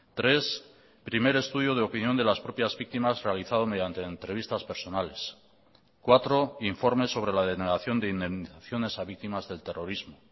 tres primer estudio de opinión de las propias víctimas realizado mediante entrevistas personales cuatro informe sobre la denegación de indemnizaciones a víctimas del terrorismo